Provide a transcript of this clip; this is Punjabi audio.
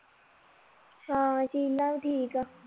ਹਾਂ ਸ਼ੀਲਾ ਵੀ ਠੀਕ ਆ